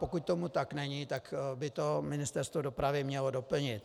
Pokud tomu tak není, tak by to Ministerstvo dopravy mělo doplnit.